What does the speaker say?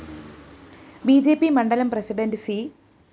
B J P മണ്ഡലം president C